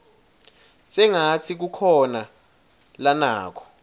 sengatsi kukhona lanako